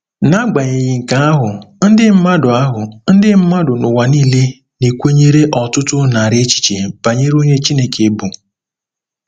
N'agbanyeghị nke ahụ, ndị mmadụ ahụ, ndị mmadụ n'ụwa nile na-ekwenyere ọtụtụ narị echiche banyere onye Chineke bụ.